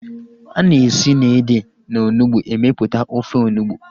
Ana esi na ede na onugbu emeputa ofe onugbu